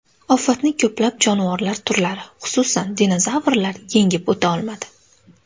Ofatni ko‘plab jonivorlar turlari, xususan, dinozavrlar yengib o‘ta olmadi.